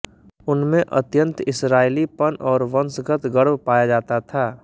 उनमें अत्यन्त इसराईली पन और वंशगत गर्व पाया जाता था